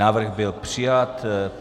Návrh byl přijat.